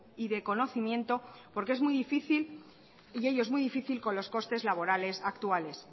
y de conocimiento porque es muy difícil y ello es muy difícil con los costes laborales actuales